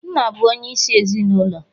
Nna bụ onyeisi ezinụlọ